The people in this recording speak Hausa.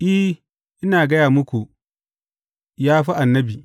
I, ina gaya muku, ya ma fi annabi.